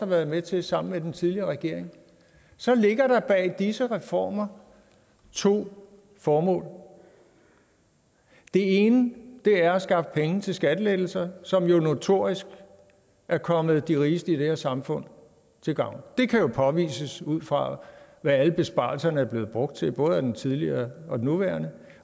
været med til sammen med den tidligere regering så ligger der bag disse reformer to formål det ene er at skaffe penge til skattelettelser som jo notorisk er kommet de rigeste i det her samfund til gavn det kan jo påvises ud fra hvad alle besparelserne er blevet brugt til både af den tidligere og den nuværende